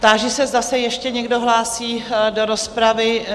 Táži se, zda se ještě někdo hlásí do rozpravy?